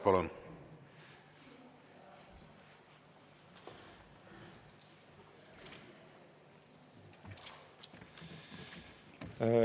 Palun!